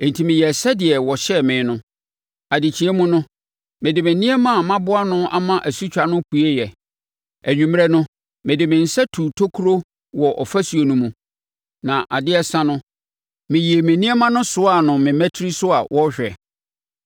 Enti meyɛɛ sɛdeɛ wɔhyɛɛ me no. Adekyeɛ mu no, mede me nneɛma a maboa ano ama asutwa no pueeɛ. Anwummerɛ no, mede me nsa tuu tokuro wɔ ɔfasuo no mu, na adeɛ resa no, meyii me nneɛma no soaa no me mmatire so a wɔrehwɛ.